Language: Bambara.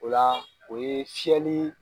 O la o ye fiɲɛli